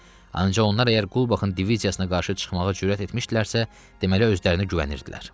Ancaq onlar əgər Qulbaxın diviziyasına qarşı çıxmağa cürət etmişdilərsə, deməli özlərinə güvənirdilər.